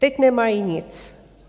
Teď nemají nic.